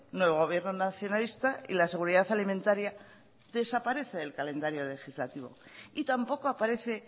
nuevo gobierno nacionalista y la seguridad alimentaría desaparece del calendario legislativo y tampoco aparece